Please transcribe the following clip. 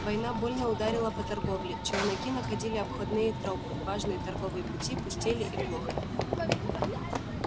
война больно ударила по торговле челноки находили обходные тропы важные торговые пути пустели и глохли